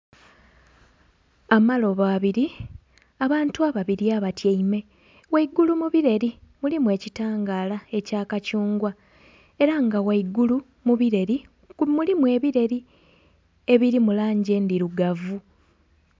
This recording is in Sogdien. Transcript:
Amalobo abiri, abantu ababiri abatyaime ghaigulu mu bireri mulimu ekitangara ekya kathungwa era nga ghaigulu mubireri mulimu ebireri biri mulangi endhirugavu.